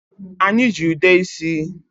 Anyị ji ude isi.